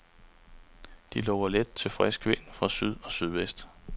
De lover let til frisk vind fra syd og sydvest.